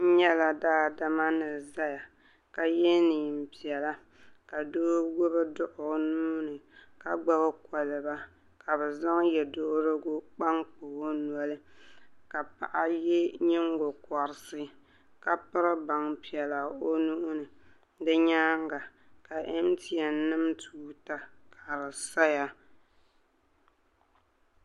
N yɛla daadama ni zaya ka yiɛ nɛn piɛla ka doo gbubi dɔɣu o nuu ni ka gbubi koliba ka bi zaŋ yiɛsuhirigu kpankpa o noli ka Paɣi yiɛ yingokɔrisi ka piri baŋ piɛla o nuu ni di yɛanga ka MTN nim tuuta ka di saya.